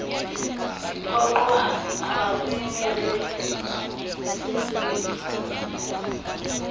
diphoqo ha re ne re